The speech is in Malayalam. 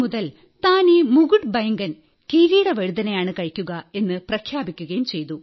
ഇന്നുമുതൽ താൻ ഈ മുകുട്ബൈംഗൻ കിരീടവഴുതനയാണ് കഴിക്കുക എന്നു പ്രഖ്യാപിക്കുകയും ചെയ്തു